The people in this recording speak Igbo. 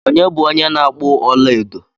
Onye bu onye na-akpu ọla edo?